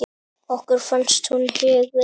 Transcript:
Okkur fannst hún huguð.